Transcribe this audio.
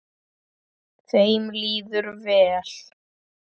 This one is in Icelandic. Þeim líður vel.